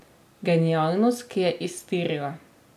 Genialnost, ki je iztirila.